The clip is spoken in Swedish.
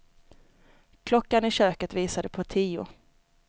Klockan i köket visade på tio.